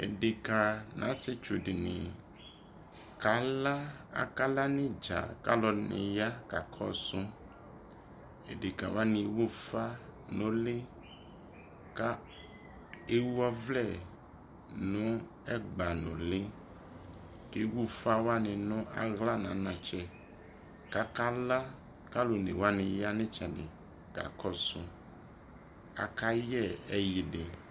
edeka no asietsu dini kala, a kala no idza ko alɔdini ya ka kɔso edeka waniewu ufa no uli kewu ɔvlɛ no ɛgba no uli kewu ufa wane no ala no anatsɛ ko a kala ko aluone wane ya no etsɛdi kakɔso ko akayɛ ɛyidi